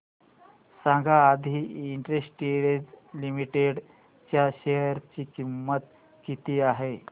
सांगा Aadi industries limited च्या share ची किंमत किती आहे